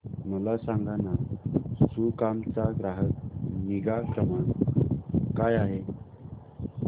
मला सांगाना सुकाम चा ग्राहक निगा क्रमांक काय आहे